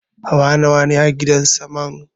Hawa nawane a gidan saman?